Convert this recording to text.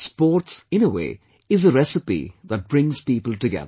Sports, in a way, is a recipe that brings people together